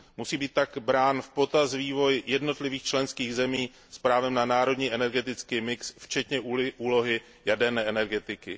Musí být také brán v potaz vývoj jednotlivých členských zemí s právem na národní energetický mix včetně úlohy jaderné energetiky.